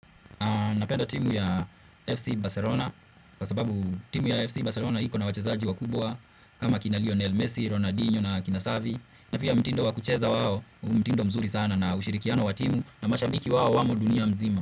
Napenda timu ya FC Barcelona, kwa sababu timu ya FC Barcelona iko na wachezaji wakubwa kama kina Lionel Messi, Ronaldinho na akina savi, na pia mtindo wa kucheza wao, u mtindo mzuri sana na ushirikiano wa timu na mashabiki wao wamo dunia mzima.